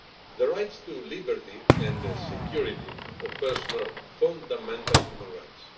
The rights to liberty and security of person are fundamental human rights.